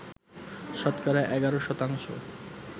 শতকরা ১১ শতাংশ